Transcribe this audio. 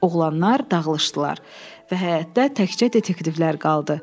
Oğlanlar dağılışdılar və həyətdə təkcə detektivlər qaldı.